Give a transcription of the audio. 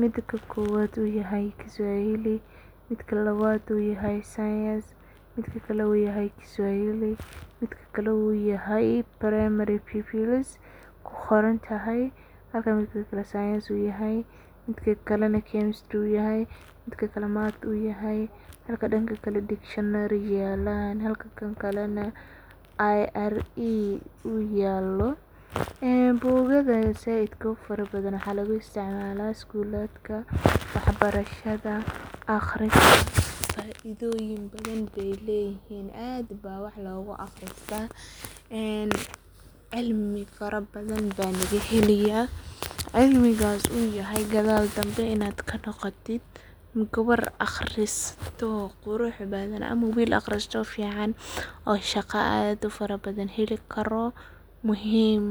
midka kowad u yahay Kiswahili ,midka labad u yahay science midka kale u yahay ku qorantahay primary pupils midka kalena u yahay dictionary iyo maths waxa lagu isticmala schoolka faidoyin badan bey leyihin aad ba wax logu aqrista .cilmi fara badan baa laga helaya, cilmigas u yahay gadal danbe kanoqotid gabar aqrisato qurux badan ama gabar aqrisato fican oo shaqo aad u fara badan heli karo muhim .